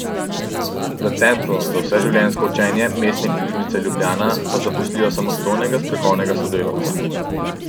V Centru za vseživljenjsko učenje Mestne knjižnice Ljubljana pa zaposlijo samostojnega strokovnega sodelavca .